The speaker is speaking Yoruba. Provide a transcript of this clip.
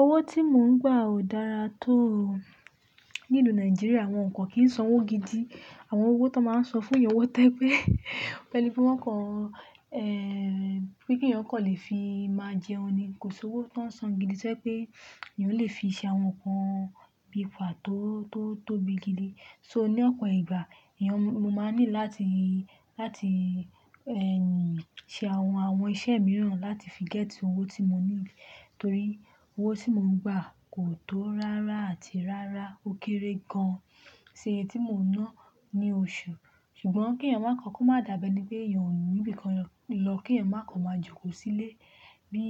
Owó tí mò ń gbà ò dára tó. N'ílu Nàìjíríà wọn kan kìí san owó gidi. Àwọn owó tó máa ń san fún èèyàn wọ́tẹ́ pé, beni pe wọ́n kan, eh, pé kí èèyàn kó le fi máa jẹun ni. Kò sí owó tó ń san gidi sẹ́ pé èèyàn lè fi ṣe àwọn nǹkan bí i fàá tó, tó tóbi gidi. So ní ọ̀pọ̀ ìgbà èèyàn mo máa ní láti, láti ẹ́ nì ṣe àwọn, àwọn iṣẹ́ mìíràn láti fi gẹ́tì owó tí mo niid. Torí owó tí mò ń gbà kò tó rárá àti rárá ó kéré gan-an sí eyi tí mò ń ná ní oṣù. Ṣùgbọ́n kí èèyàn máa kọ́, kó má dàbẹ́ ní pé èèyàn ò ní bí i kan lọ, kí èèyàn má kò máa jókòó sílé. Bí